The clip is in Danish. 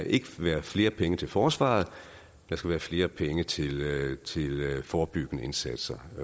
ikke skal være flere penge til forsvaret der skal være flere penge til forebyggende indsatser